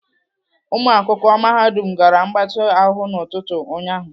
Ụmụakwụkwọ mahadum gara mgbatị ahụ n'ụtụtụ ụnyaahụ.